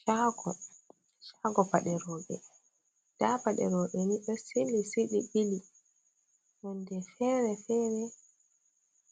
Shago: Shago paɗe roɓe nda paɗe roɓe ni ɗo sili sai ɓe ɓili. Nonde fere-fere,